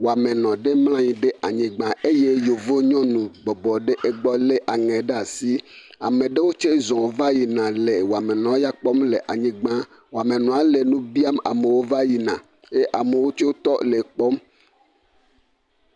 Wɔamenɔ ɖe mlɔ anyi ɖe anyigba eye Yevu nyɔnu bɔbɔ ɖe egbe lé aŋɛ ɖe asi. Ame ɖewo tsɛ zɔ va yina le wɔmenɔ ya kpɔm le anyigba. Wɔmenɔa le nu biam amewo va yina ye amewo tsɛ tɔ le ekpɔm.